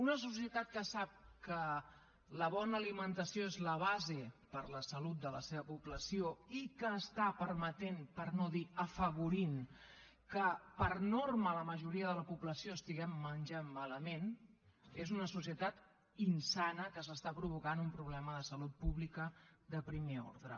una societat que sap que la bona alimentació és la base per a la salut de la seva població i que està permetent per no dir afavorint que per norma la majoria de la població estiguem menjant malament és una societat insana que s’està provocant un problema de salut pública de primer ordre